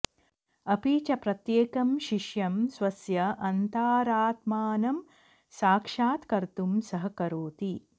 अपि च प्रत्येकं शिष्यं स्वस्य अन्तारात्मानं साक्षात्कर्तुं सहकरोति